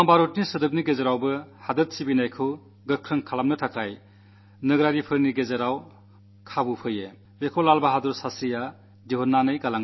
ബോംബിന്റെയും തോക്കിന്റെയും ശബ്ദകോലാഹലങ്ങൾക്കിടയിൽ ദേശഭക്തി പ്രകടിപ്പിക്കാൻ എല്ലാ പൌരന്മാരുടെയും പക്കൽ മറ്റു വഴികളും ഉണ്ടാകാമെന്ന് ലാൽ ബഹാദുർ ശാസ്ത്രി കാട്ടിത്തരുകയായിരുന്നു